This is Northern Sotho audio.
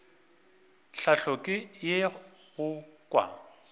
tlhahlo ke ye go kwa